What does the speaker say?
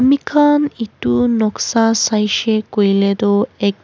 Ami khan etu noksa saishe koile tuh ek--